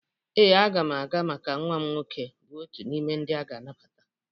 Ee, aga m aga maka nwam nwoke bụ otu n'ime ndị aga anabata.